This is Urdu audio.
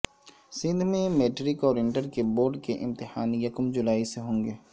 سندھ میں میٹرک اور انٹر کے بورڈ کے امتحان یکم جولائی سے ہوں گے